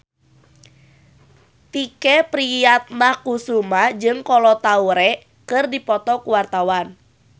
Tike Priatnakusuma jeung Kolo Taure keur dipoto ku wartawan